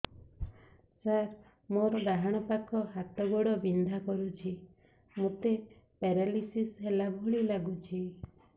ସାର ମୋର ଡାହାଣ ପାଖ ହାତ ଗୋଡ଼ ବିନ୍ଧା କରୁଛି ମୋତେ ପେରାଲିଶିଶ ହେଲା ଭଳି ଲାଗୁଛି